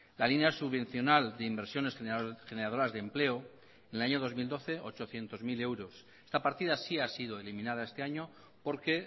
la línea subvencional de inversiones generadoras de empleo en el año dos mil doce ochocientos mil euros esta partida sí ha sido eliminada este año porque